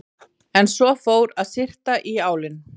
En svo fór að syrta í álinn.